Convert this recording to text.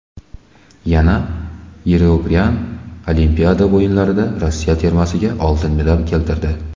Yana Yegoryan Olimpiada o‘yinlarida Rossiya termasiga oltin medal keltirdi.